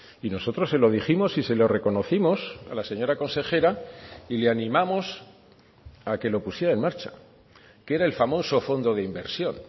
y nosotros se lo dijimos y se lo reconocimos a la señora consejera y le animamos a que lo pusiera en marcha que era el famoso fondo de inversión